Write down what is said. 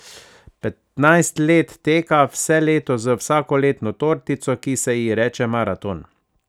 Petnajst let teka vse leto z vsakoletno tortico, ki se ji reče Maraton.